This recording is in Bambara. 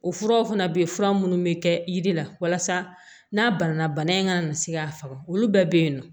O furaw fana bɛ yen fura minnu bɛ kɛ yiri la walasa n'a banana bana in kana na se k'a faga olu bɛɛ bɛ yen nɔ